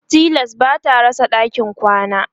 tilas bata rasa ɗakin kwana